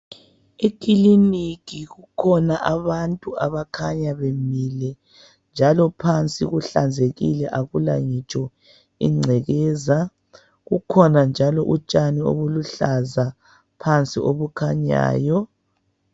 Ikhiliniki kukhona abantu abakhanya bemile njalo phansi kuhlanzekile akula ngitsho ingcekeza. Kukhona njalo utshani oluhlaza phansi okukhanyayo.